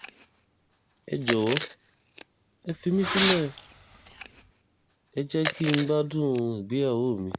ẹ jọ̀wọ́ ẹ fi mí sílẹ̀ ẹ jẹ́ kí n gbádùn ìgbéyàwó mi